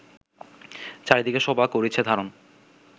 চারিদিকে শোভা করিছে ধারণ